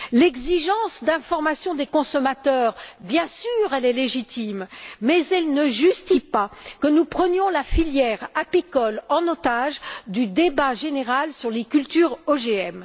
L'exigence d'information des consommateurs, bien sûr, est légitime, mais elle ne justifie pas que nous prenions la filière apicole en otage dans le débat général sur les cultures OGM.